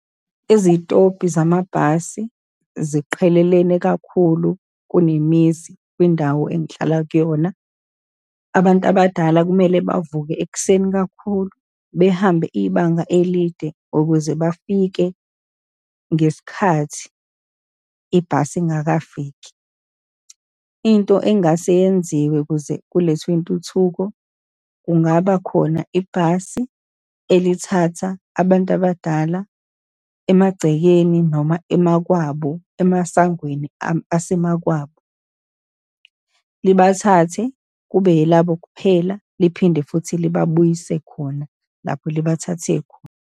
Izitobhi zamabhasi ziqhelelene kakhulu kunemizi kwindawo engihlala kuyona. Abantu abadala kumele bavuke ekuseni kakhulu behambe ibanga elide ukuze bafike ngesikhathi ibhasi ingakafiki. Into engase yenziwe kuze kulethwe intuthuko, kungaba khona ibhasi elithatha abantu abadala emagcekeni, noma emakwabo, emasangweni asemakwabo, libathathe kube yelabo kuphela, liphinde futhi libabuyise khona lapho libathathe khona.